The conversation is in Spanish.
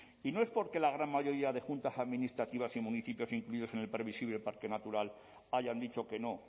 y no es porque la gran mayoría de juntas administrativas y municipios incluidos en el previsible parque natural hayan dicho que no